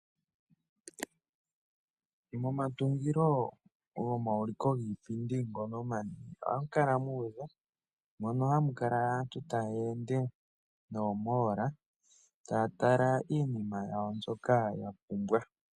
Momatungilo gomauliko giipindi ohamu kala mu udha mono hamu kala aantu taya ende nomatungo gomangeshefelo taya tala iinima yawo mbyoka ya pumbwa.